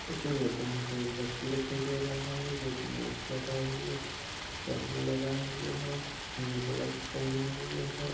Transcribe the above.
इस इमेज में हमको एक व्यक्ति दिखाई दे रहा है जोकि माक्स लगाये हुए है। चश्मे लगाये हुए है। हैंड ग्लब्स पहने हुए है।